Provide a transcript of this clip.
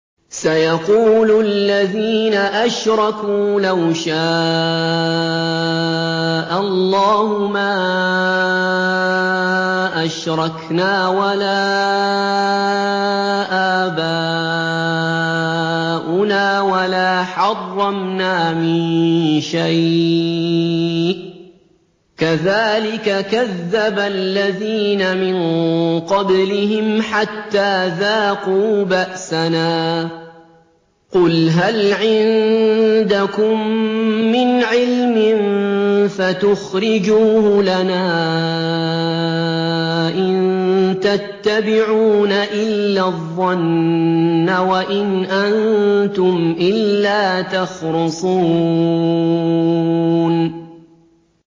سَيَقُولُ الَّذِينَ أَشْرَكُوا لَوْ شَاءَ اللَّهُ مَا أَشْرَكْنَا وَلَا آبَاؤُنَا وَلَا حَرَّمْنَا مِن شَيْءٍ ۚ كَذَٰلِكَ كَذَّبَ الَّذِينَ مِن قَبْلِهِمْ حَتَّىٰ ذَاقُوا بَأْسَنَا ۗ قُلْ هَلْ عِندَكُم مِّنْ عِلْمٍ فَتُخْرِجُوهُ لَنَا ۖ إِن تَتَّبِعُونَ إِلَّا الظَّنَّ وَإِنْ أَنتُمْ إِلَّا تَخْرُصُونَ